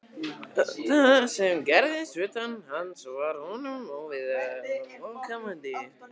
Það sem gerðist utan hans var honum óviðkomandi.